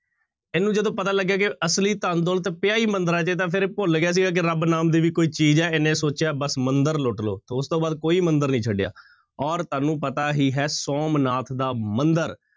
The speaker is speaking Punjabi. ਇਹਨੂੰ ਜਦੋਂ ਪਤਾ ਲੱਗਿਆ ਕਿ ਅਸਲੀ ਧਨ ਦੌਲਤ ਪਿਆ ਹੀ ਮੰਦਿਰਾਂ ਚ ਹੈ ਤਾਂ ਫਿਰ ਇਹ ਭੁੱਲ ਗਿਆ ਸੀਗਾ ਕਿ ਰੱਬ ਨਾਮ ਦੀ ਕੋਈ ਚੀਜ਼ ਹੈ, ਇਹਨੇ ਸੋਚਿਆ ਬਸ ਮੰਦਿਰ ਲੁੱਟ ਲਓ ਤਾਂ ਉਸਤੋਂ ਬਾਅਦ ਕੋਈ ਮੰਦਿਰ ਨੀ ਛੱਡਿਆ ਔਰ ਤੁਹਾਨੂੰ ਪਤਾ ਹੀ ਹੈ ਸੋਮਨਾਥ ਦਾ ਮੰਦਿਰ,